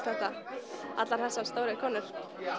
þetta þessar stóru konur